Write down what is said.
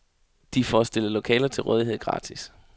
De får stillet lokaler til rådighed gratis.